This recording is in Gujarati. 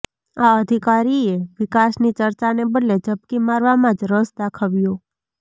આ અધિકારીએ વિકાસની ચર્ચાને બદલે ઝપકી મારવામાં જ રસ દાખવ્યો